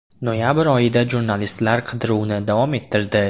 Noyabr oyida jurnalistlar qidiruvni davom ettirdi.